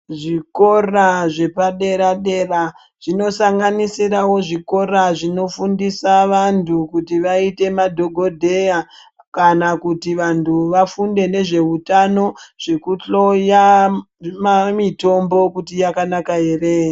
Zvikora zvepadera-dera zvinosanganisirawo zvikora zvinofundise vantu kuti vaite madhogodheya kana kuti vantu vafunde nezveutano zvekuhloya mitombo kuti yakanaka ere?.